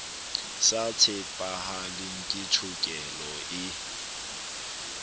sa tshepahaleng ke tshokelo e